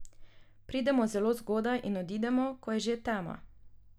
Pridemo zelo zgodaj in odidemo, ko je že tema.